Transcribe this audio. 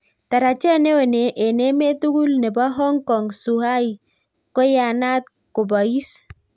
Tarajet neo eng emet tugul nebo Hong Kong -Zhuhai koyanat kobais